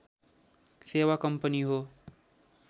सेवा कम्पनी हो